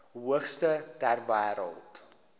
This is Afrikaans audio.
hoogste ter wêreld